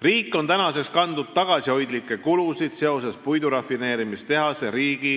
Riik on seni kandnud tagasihoidlikke kulusid seoses puidurafineerimistehase riigi